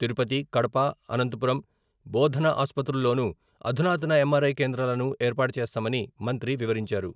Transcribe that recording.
తిరుపతి, కడప, అనంతపురం బోధన ఆస్పత్రుల్లోనూ అధునాతన ఎంఆర్ఐ కేంద్రాలను ఏర్పాటు చేస్తామని మంత్రి వివరించారు.